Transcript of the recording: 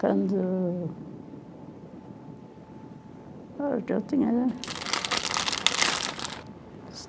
Quando... Eu já tinha...